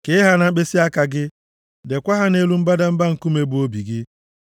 Kee ha na mkpịsịaka gị, deekwa ha nʼelu mbadamba nkume, bụ obi gị.